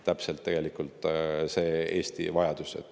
Täpselt see on tegelikult Eesti vajadus.